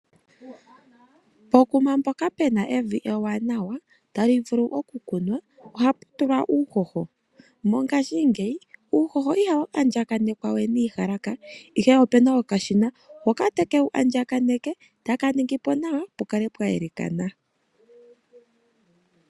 Pokuma mpoka puna evi ewanawa tali vulu okukunwa, oha pu tulwa uuhoho. Mongashingeyi uuhoho ihau andjakanekwa we niiyalaka, ihe opuna okashina hoka haka longithwa okuwu andjagakaneka nawa, hoka taka ningi po nawa pukale pwa yelekathana.